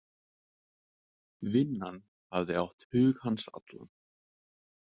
Vinnan hafði átt hug hans allan.